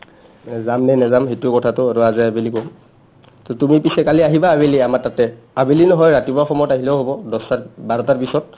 to যাম নে নাযাম সেইটো কথাটো আৰু আজি আবেলি ক'ম to তুমি পিছে কালি আহিবা আবেলি আমাৰ তাতে আবেলি নহয় ৰাতিপুৱা সময়ত আহিলেও হ'ব দছটাত বাৰটাৰ পিছত